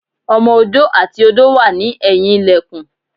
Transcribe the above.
Ọmọ odó àti odó náà wà ní ẹ̀yìn ilẹ̀kùn